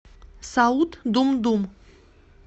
саут думдум